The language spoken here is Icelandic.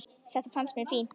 Þetta fannst mér fínt.